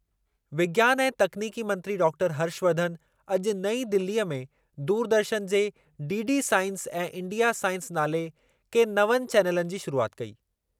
विज्ञानु ऐं तकनीकी मंत्री डाक्टर हर्षवर्धन अॼु नईं दिलीअ में दूरदर्शन जे डीडी साइंस ऐं इंडिया साइंस नाले के नवनि चैनलनि जी शुरूआति कई।